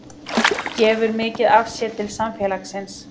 Gefur mikið af sér til samfélagsins